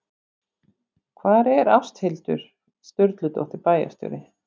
Hvar er Ásthildur Sturludóttir bæjarstjóri?